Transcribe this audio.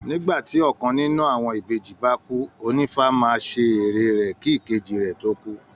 Nígbà tí ọkàn nínú àwọn ìbejì bá kú, ònífá máa ṣe ère rẹ̀ kí ìkejì rẹ̀ tó kú